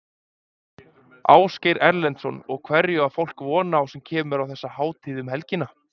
Ásgeir Erlendsson: Og hverju á fólk von á sem kemur á þessa hátíð um helgina?